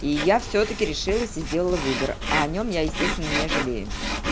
и я всё-таки решилась и сделала выбор а о нем я естественно не жалею